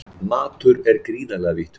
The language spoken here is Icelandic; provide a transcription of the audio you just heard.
Matur er gríðarlega vítt hugtak